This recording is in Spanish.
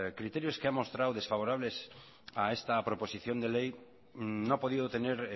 criterios que ha mostrado desfavorables a esta proposición de ley no ha podido tener